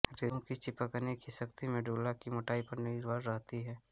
रेशे की चिपकने की शक्ति मेडुल्ला की मोटाई पर निर्भर रहती है